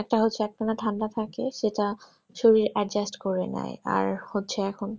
একটা হচ্ছে একটানা ঠান্ডা থাকে সেটা শরীরে adjust করে না আর হচ্ছে এখন